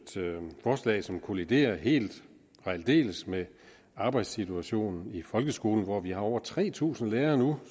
forslag som kolliderer helt og aldeles med arbejdssituationen i folkeskolen hvor vi nu har over tre tusind lærere